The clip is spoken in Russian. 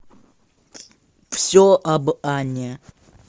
все об анне